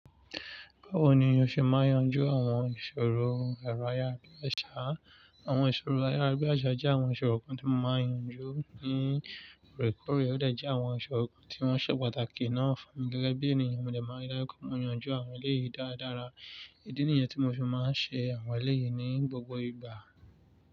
Báwo ni o ṣe máa n yanjú àwọn ìṣòro ẹ̀rọ ayárabíàṣá? Àwọn ìṣòro ayárabíàṣá jẹ́ àwọn ìṣòro kan tí mo máa ń yanjú ní ọ̀rẹ́kọ̀ọ́rẹ́. Ó de jẹ àwọn ìṣòro kan tí wọ́n ṣe pàtàkì náà fún mi gẹ́gẹ́ bí ènìyàn. Mo de máa ń saré kò máa ń yanjú àwọn eléyìí dáradára. Idí niyẹn tí mo fi máa ń ṣe àwọn eléyìí ní gbogbo ìgbà.